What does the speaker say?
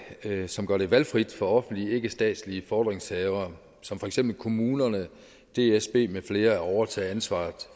som gør det valgfrit for offentlige ikkestatslige fordringshavere som for eksempel kommunerne og dsb mfl at overtage ansvaret